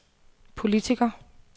politiker